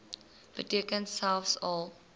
beteken selfs al